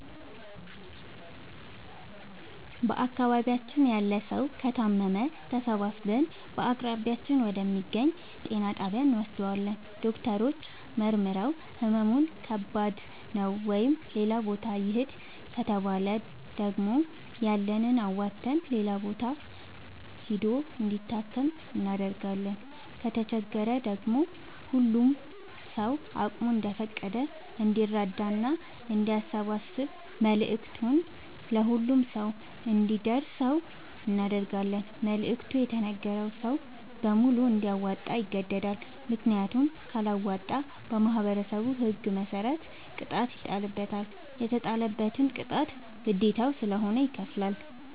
በአካባቢያችን ያለ ሠዉ ከታመመ ተሠባስበን በአቅራቢያችን ወደ ሚገኝ ጤና ጣቢያ እንወስደዋለን። ዶክተሮች መርምረዉ ህመሙ ከባድ ነዉ ወደ ሌላ ቦታ ይህድ ከተባለ ደግሞ ያለንን አዋተን ሌላ ቦታ ሂዶ እንዲታከም እናደርጋለን። ከተቸገረ ደግሞ ሁሉም ሰዉ አቅሙ እንደፈቀደ እንዲራዳና አንዲያሰባስብ መልዕክቱ ለሁሉም ሰው አንዲደርሰው እናደርጋለን። መልዕክቱ የተነገረዉ ሰዉ በሙሉ እንዲያወጣ ይገደዳል። ምክንያቱም ካለወጣ በማህበረሠቡ ህግ መሰረት ቅጣት ይጣልበታል። የተጣለበትን ቅጣት ግዴታዉ ስለሆነ ይከፍላል።